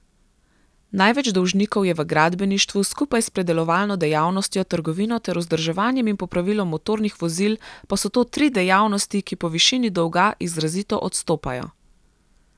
Največ dolžnikov je v gradbeništvu, skupaj s predelovalno dejavnostjo, trgovino ter vzdrževanjem in popravilom motornih vozil pa so to tri dejavnosti, ki po višini dolga izrazito odstopajo.